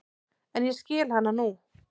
En ég skil hana nú.